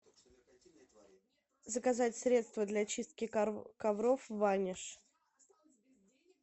заказать средство для чистки ковров ваниш